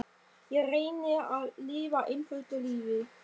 Ég reyni að lifa einföldu lífi.